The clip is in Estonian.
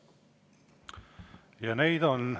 Ja neid on.